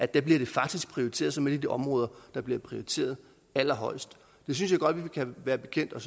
der bliver det faktisk prioriteret som et områder der bliver prioriteret allerhøjest det synes jeg godt vi kan være bekendt og